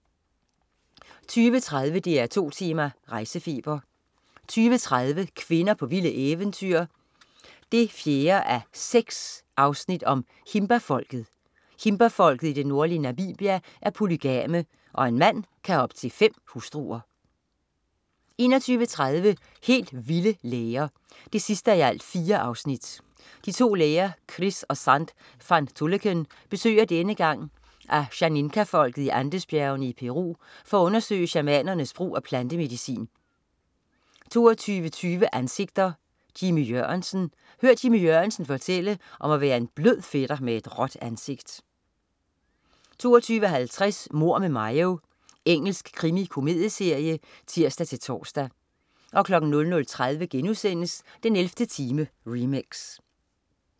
20.30 DR2 Tema: Rejsefeber 20.30 Kvinder på vilde eventyr 4:6. Himba-folket. Himbafolket i det nordlige Namibia er polygame, og en mand kan have op til fem hustruer 21.30 Helt vilde læger 4:4. De to læger Chris og Zand van Tulleken besøger denne gang Ashaninka-folket i Andesbjergene i Peru for at undersøge shamanernes brug af plantemedicin 22.20 Ansigter: Jimmy Jørgensen. Hør Jimmy Jørgensen fortælle om at være en blød fætter med et råt ansigt 22.50 Mord med Mayo. Engelsk krimikomedieserie (tirs-tors) 00.30 den 11. time, remix*